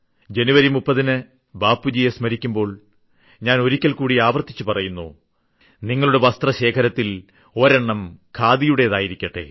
ജനുവരി 30ന് ബാപ്പുജിയെ സ്മരിക്കുമ്പോൾ ഞാൻ ഒരിക്കൽക്കൂടി ആവർത്തിച്ചു പറയുന്നു നിങ്ങളുടെ വൻവസ്ത്രശേഖരത്തിൽ ഒരെണ്ണം ഖാദിയുടെതായിരിക്കട്ടെ